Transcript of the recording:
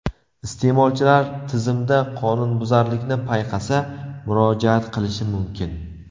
Iste’molchilar tizimda qonunbuzarlikni payqasa, murojaat qilishi mumkin.